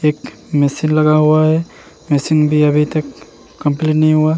एक मैसी लगा हुआ है मैसी अभी तक कम्पलीट नहीं हुआ है।